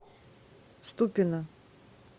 ступино